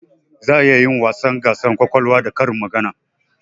Za a iya yin gasar wasa kwakwalwa da karin magana